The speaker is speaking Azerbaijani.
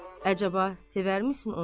Əcəba, sevərmisin onu sən?